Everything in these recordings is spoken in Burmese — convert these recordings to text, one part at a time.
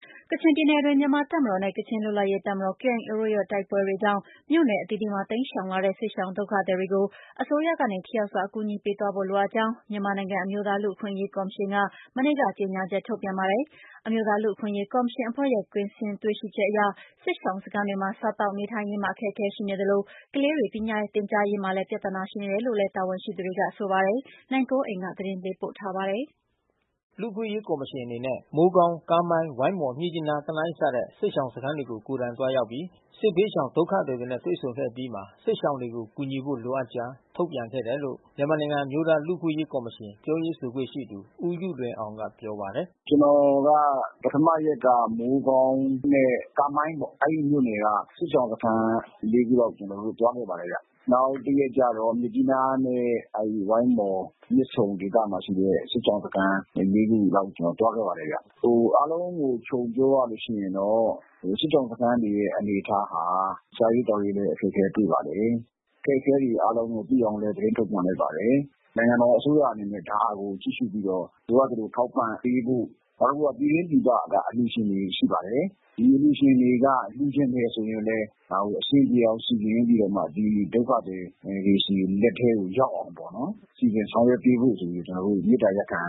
ကချင်ပြည်နယ်အတွင်း မြန်မာ့တပ်မတော်နဲ့ ကချင်လွတ်လပ်ရေး တပ်မတော်KIAတို့ တိုက်ပွဲကြောင့် မြို့နယ်အသီး သီးမှာတိမ်းရှောင်လာတဲ့စစ်ရှောင်ဒုက္ခသည်တွေကို အစိုးရကနေ ထိရောက်စွာအကူညီပေးသွားဖို့လိုအပ်ကြောင်း မြန်မာနိုင်ငံအမျိုးသား လူ့အခွင့်အရေးကော်မရှင်ကနေ မနေ့ကကြေညာချက်ထုတ်ပြန်ခဲ့တာပါ။ အမျိုးသားလူ့ အခွင့်အရေးကော်မရှင်အဖွဲ့ရဲ့ကွင်းဆင်းတွေ့ရှိချက်အရ စစ်ရှောင်စခန်းတွေမှာ စားသောက်နေထိုင်ရေးမှာ အခက်ခဲရှိနေသလို ကလေးတွေပညာသင်ကြားရေးမှာ ပြဿနာရှိနေတယ်လို့လဲ တာဝန်ရှိသူတွေကဆိုပါတယ်။ ဗွီအိုအေ ထိုင်းအခြေစိုက်သတင်းထောက် နိုင်ကွန်းအိန်ကနေ သတင်းပေး ပို့ထားပါတယ်။ လူ့အခွင့်အရေးကော်မရှင်အနေနဲ့ မိုးကောင်း ကားမိုင်း ဝိုင်းမော် မြစ်ကြီးနား တနိုင်းစတဲ့ စစ်ရှောင်စခန်းတွေကို ကိုယ်တိုင်သွားရောက်ပြီး စစ်ဘေးရှောင် ဒုက္ခသည်တွေနဲ့တွေ့ဆုံခဲ့အပြီး စစ်ရှောင်တွေကို ကူညီဖို့လိုအပ်ကြောင်း ထုတ်ပြန်ခဲ့တယ်လို့ မြန်မာနိုင်ငံအမျိုးသားလူ့အခွင့်အရေးကော်မရှင် ပြောရေးဆိုခွင့်ရှိသူဦးယုလွင်အောင်က ပြော ပါတယ်။ "ကျွန်တော်က ပထမရက်က မိုးကောင်းနဲ့ကားမိုင်းပေါ့။ အဲဒီမြို့နယ်က စစ်ရှောင်စခန်း ခုလောက် သွားခဲ့ပါတယ်ဗျ။ နောက်တရက်ကျတေဆာ့ မြစ်ကြီးနားနဲ့ဝိုင်းမော် မြစ်ဆုံဒေသမှာရှိတဲ့စစ်ရှောင်စခန်း ခုလောက် ကျွန်တော်သွားခဲ့ပါ တယ်ဗျ။ အားလုံးကိုခြုံပြောရရင်တော့ စစ်ရှောင်စခန်းတွေရဲ့အနေအထားဟာ စားရေးသောက်ရေးလဲ အခက်ခဲတွေ့ ပါတယ်။ အခက်ခဲတွေ သိအောင်လည်း သတင်းထုတ်ပြန်လိုက်ပါတယ်။ နိုင်ငံတော်အစိုးရအနေနဲ့ ဒါကိုကြည့်ရှုပြီးတော့ ဒါကိုထောက်ပံ့ပေးဖို့ နောက်တခုကပြည်တွင်းပြည်ပက အလှူရှင်တွေရှိပါတယ်။ ဒီအလှူရှင်တွေက လှူချင်တယ် ဆိုရင်လဲ ဒါကိုအဆင်ပြေအောင် စီစဉ်ပြီးတော့မှ ဒီဒုက္ခသည်တွေဆီ လက်ထဲရောက်အောင် စီစဉ်ဆောင်ရွက်ပေးဖို့ ဆိုပြီး ကျွန်တော်တို့မေတ္တာရပ်ခံ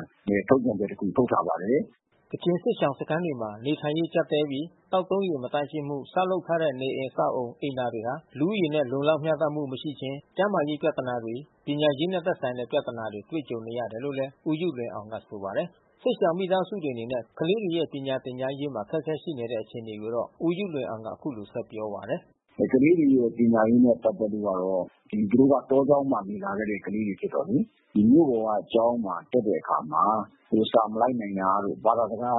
ထုတ်ပြန်ချက်တခု ထုတ်ထားပါတယ်။" ကချင်စစ်ရှောင်စခန်းတွေမှာနေထိုင်ရေးကြပ်တည်းနေပြီး သောက်သုံးရေမသန့်ရှင်းမှု ဆောက်လုပ်ထားတဲ့ နေအိမ် အဆောက်အဦး၊ အိမ်သာတွေဟာ လူဦးရေ လုံလောက်မျှတမှုမရှိခြင်း၊ ကျန်းမာရေးပြဿနာတွေ ပညာရေးနဲ့သက်ဆိုင် တဲ့ ပြဿနာတွေ တွေ့ကြုံနေရတယ်လို့ ဦးယုလွင်အောင်ကဆိုပါတယ်။ စစ်ရှောင်မိသားစုတွေအနေနဲ့ ကလေးတွေရဲ့ပညာသင်ကြားရေးတွေ မှာအခက်ခဲတွေရှိနေတဲ့အခြေအနေကိုတော့ ဦးယုလွင်အောင်ကဆက်ပြောပါတယ်။ "ကလေးတွေရဲ့ပညာရေးနဲ့ပက်သက်လို့ကတော့ သူတို့က တောကျောင်းမှာနေလာခဲ့တဲ့ကလေးတွေဆိုတော့လေ။ ဒီမြို့ပေါ်ကကျောင်းမှာတက်တဲ့အခါမှာ စာမလိုက်နိုင်တာတို့ ဘာသာစကား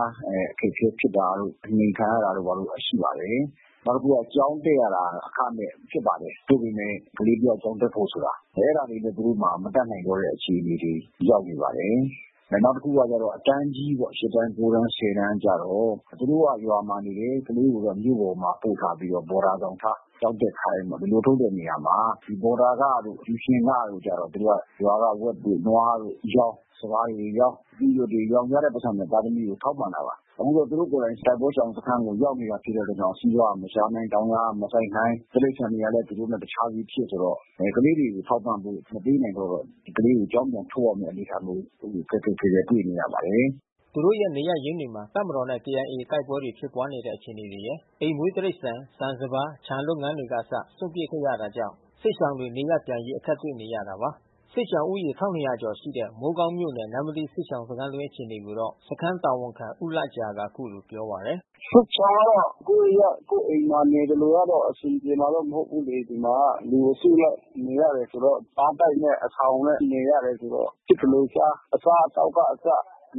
အခက်ခဲဖြစ်တာတို့ အနှိမ်ခံရတာတို့ ဘာတို့ရှိပါတယ်။ နောက်တခုကကျောင်းတက်ရတာအခမဲ့ဖြစ်ပါတယ်။ သို့ပေမဲ့ကလေးတယောက် ကျောင်းတက်ဖို့ ဆိုတာ အဲတာတွေသူတို့တတွေမတတ်နိုင်တော့တဲ့အခြေအနေမှာ ရောက်နေပါတယ်။ နောက်တခုကအတန်းကြီးပေါ့ တန်း တန်း တန်းကျတော့ သူတို့ကရွာမှာနေတယ် ကလေးတွေကိုမြို့မှာပို့ထားပြီးတော့ ဘော်ဒါဆောင် ထား ကျောင်းတက်ခိုင်းတော့ ဒီလိုလုပ်တဲ့နေရာမှာ ဘော်ဒါခတို့ ကျူရှင်ခတို့ကျတော့ သူတို့ကရွာက ဝက်တို့ နွား တို့ရောင်း စပါးတွေရောင်း အသီးအရွက်တွေရောင်း ရတဲ့ပိုက်ဆံနဲ့သားသမီးတွေကိုထောက်ပံ့တာပါ။ အခုတော့ သူတို့ကိုယ်တိုင်တိုက်ပွဲရှောင်စခမ်းကိုရောက်တာဖြစ်တဲ့အတွက် စီးပွါးကမရှာနိုင် တောင်ယာကမစိုက်နိုင် တိရိစ္ဆာန် တွေကလဲသူတို့နဲ့တခြားစီဖြစ်ဆိုတော့ ကလေးတွေကိုထောက်ပံ့ဖို့မပေးနိုင်တော့ ကလေးကိုကျောင်းပြန်ထုတ်ရမဲ့ အနေအထားမျိုး အဲဒီလိုခက်ခက်ခဲခဲတွေ့နေရပါတယ်။" သူတို့ရဲ့နေရပ်ရင်းတွေမှာ တပ်မတော်နဲ့KIAတိုက်ပွဲတွေဖြစ်ပွါးနေတဲ့ အခြေအနေတွေရယ် အိမ်မွေးတိရိစ္ဆာန် ဆန်စပါး ခြံလုပ်ငန်းတွေက အစစွန့်ပစ်ခဲ့ရတာကြောင့် စစ်ရှောင်တွေနေရပ်ပြန်ရေးအခက်တွေ့နေရတာပါ။ စစ်ရှောင်ဦးရေ ကျော်ရှိတဲ့ မိုးကောင်းမြို့နယ်၊ နမ္မတီးစစ်ရှောင်စခန်း အတွင်းအခြေအနေကိုတော့ စခန်း တာဝန်ခံဦးလဂျာကအခုလိုပြောပါတယ်။ "စစ်ရှောင်တွေကတော့ ကိုယ်ရပ်ကိုယ်အိမ်မှာနေသလိုတော့ အဆင်ပြေမှာမဟုတ်ဘူးလေ။ ဒီမှာကလူအစုလိုက် နေရ တယ်ဆိုတော့ ဘားတိုက်နဲ့အဆောင်နဲ့နေရတယ်ဆိုတော့ ဖြစ်သလိုစား အစားအသောက်ကအစ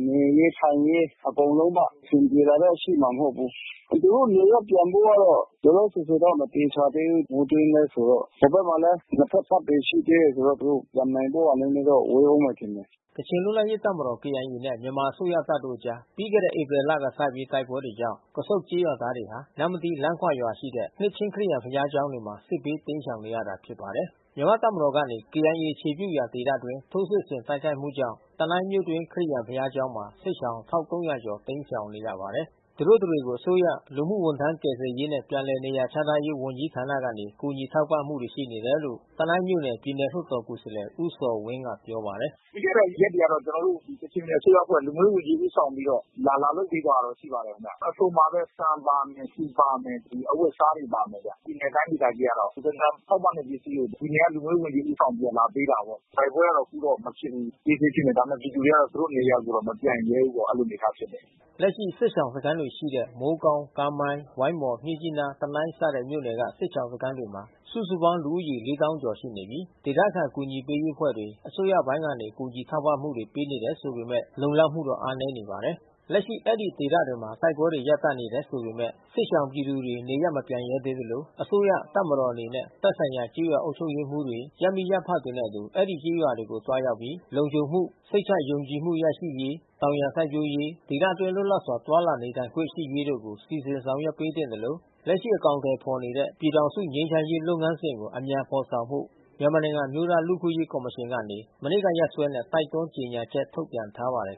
နေရေး ထိုင်ရေး အကုန်လုံးပေါ့။ အဆင်ပြေတာတော့ရှိမှာမဟုတ်ဘုူး။ သူတို့နေရပ်ပြန်ဖို့ကတော့ လောခောဆယ်ဆယ်တော့ မသေ ချာသေးဘူး။ မိုးတွင်းလဲဆိုတော့။ ဟိုဘက်မှာလဲ နှစ်ဖက်တပ်တွေရှိသေးတယ်ဆိုတော့ သူတို့ပြန်နိုင်ဖို့ဟာ နဲနဲတော့ ဝေးဦးမယ်ထင်တယ်။" ကချင်လွတ်လပ်ရေးတပ်မတော် KIA နဲ့ မြန်မာအစိုးရတပ်တို့ကြား ပြီးခဲ့တဲ့ ဧပြီလကစပြီး တိုက်ပွဲကြောင့် ကဆုန့် ကျေးရွာသားတွေဟာ နမ္မတီး လမ်းခွရွာရှိနှစ်ခြင်းခရစ်ယာန်ဘုရားကျောင်းတွေမှာစစ်ဘေးတိမ်းရှောင်နေရတာ ဖြစ်ပါတယ်။ မြန်မာ့တပ်မတော်ကနေ KIAအခြေပြုရာဒေသအတွင်း ထိုးစစ်ဆင်တိုက်ခိုက်မှုကြောင့် တနိုင်းမြို့တွင်း ခရစ်ယာန် ဘုရားကျောင်းမှာ စစ်ရှောင် တိမ်းရှောင်နေရပါတယ်။ သူတို့တတွေကို အစိုးရ လူမှုဝန်ထမ်း ကယ်ဆယ်ရေးနဲ့ပြန်လည်နေရာ ချထားရေးဝန်ကြီးဌာနကနေ ကုညီထောက် ပံ့မှုတွေရှိနေတယ်လို့ တနိုင်မြို့နယ် ပြည်နယ်လွှတ်တော်ကိုယ်စားလှယ် ဦးဇော်ဝင်းကပြောပါတယ်။ "ပြီးခဲ့တဲ့ရက်တွေကတော့ ကျွန်တော်တို့ကချင်ပြည်နယ် အစိုးရအဖွဲ့လူမှုရေးဝန်ကြီး ဦးဆောင်ပြီးတော့ လာလာလုပ်ပေး သွား တာတော့ရှိပါတယ်။ အစုံပါဘဲ ဆန်ပါမယ်။ ဆီပါမယ်။ အဝတ်အစားတွေပါမယ်ဗျ။ ပြည်နယ်တိုင်းဒေသကြီးက တော့ လူကယ်ပြန်ထောက်ပံ့တဲ့ပစ္စည်းတွေကို ပြည်နယ်ကလူမှုရေးဝန်ကြီးကဦးဆောင်ပြီးလာပေးတာပေါ့။ တိုက်ပွဲက တော့ အခုတော့မဖြစ်သေးဘူး။ အေးဆေူဖြစ်နေတယ်။ ဒါပေမဲ့ပြည်သူတွေကတော့ သူတို့နေရာကိုမပြန်ရဲသေးဘူး ပေါ့။ အဲဒီလိုအနေအထားဖြစ်တယ်။" လက်ရှိစစ်ရှောင်စခန်းတွေရှိတဲ့ မိုးကောင်း ကားမိုင်း၊ ဝိုင်းမော်၊ မြစ်ကြီးနား၊ တနိုင်းစတဲ့ မြို့နယ်က စစ်ရှောင်စခန်းတွေ မှာ စုစုပေါင်းဦးရေလေးသောင်းကျော်ရှိနေပြီး ဒေသခံအကူညီပေးရေးအဖွဲ့တွေ အစိုးရပိုင်းကနေ ကူညီထောက်ပံမှု တွေပေးနေတယ်ဆိုပေမဲ့လုံလောက်မှုအားနည်းနေပါတယ်။ လက်ရှိ အဲဒီဒေသတွေမှာ တိုက်ပွဲတွေ ရပ်တန့်နေတယ် ဆိုပေမဲ့ စစ်ရှောင်ပြည်သူတွေနေရပ်မပြန်ရဲသေးသလို အစိုးရ တပ်မတော်အနေနဲ့သက်ဆိုင်ရာကျေးရွာအုပ်ချုပ်ရေးမှူးတွေ ရပ်မိရပ်ဖတွေနှင့် အတူ အဲဒီကျေးရွာတွေကို သွား ရောက်ပြီး လုံခြုံမှု၊ စိတ်ချယုံကြည်မှုရရှိစေရေး ၊တောင်ယာစိုက်ပျိုးရေးနှင့် ဒေသတွင်းလွတ်လပ်စွာသွားလာနေထိုင် နိုင်ရေး တို့ကို စီစဉ်ဆောင်ရွက်ပေးသင့် သလို လက်ရှိ အကောင်အထည် ဖော်နေတဲ့ပြည်ထောင်စု ငြိမ်းချမ်းရေး လုပ်ငန်းစဉ်ကို အမြန်ဖေါ်ဆောင်ဖို့ မြန်မာနိုင်ငံအမျိုးသား လူ့အခွင့်အရေးကော်မရှင် ကနေ မနေ့ကရက်စွဲနဲ့ တိုက်တွန်း ကြေညာချက် ထုတ်ပြန်ထား ပါတယ်